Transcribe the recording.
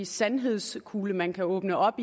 sandhedskugle man kan åbne op